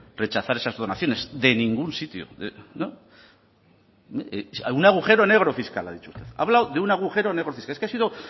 rechazar esas donaciones de ningún sitio no algún agujero negro fiscal ha dicho usted ha hablado de un agujero negro fiscal es que ha sido